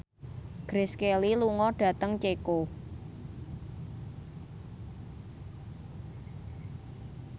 Grace Kelly lunga dhateng Ceko